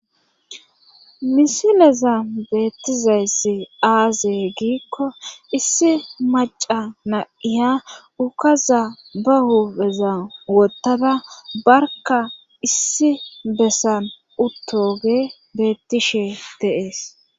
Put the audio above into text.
misileza beettizayssi aaze giikko issi maca naiya ukaza ba huubeza wottada barka issi bessan uttoge beettishe deees